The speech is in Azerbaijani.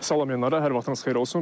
Salam Elnarə, hər vaxtınız xeyir olsun.